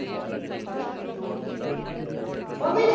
Mummy.